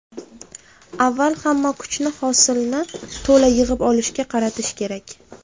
Avval hamma kuchni hosilni to‘la yig‘ib olishga qaratish kerak.